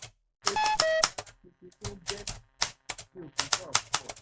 àmọ́ èmi ò kì í ṣe alápèpé tó bẹ́ẹ̀ mi ò kì í sọ̀rọ̀ púpọ̀